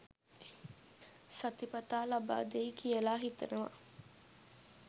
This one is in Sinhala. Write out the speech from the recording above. සතිපතා ලබාදෙයි කියලා හිතනවා